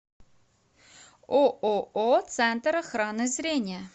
ооо центр охраны зрения